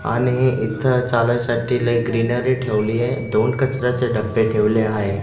आणि इथं चालायसाठी लई ग्रीनरी ठेवली आहे. दोन कचऱ्याचे डब्बे ठेवले आहेत.